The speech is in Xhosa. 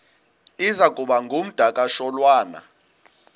iza kuba ngumdakasholwana